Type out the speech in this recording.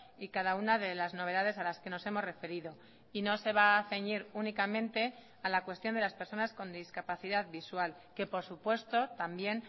y cada una de las novedades a las que nos hemos referido y no se va a ceñir únicamente a la cuestión de las personas con discapacidad visual que por supuesto también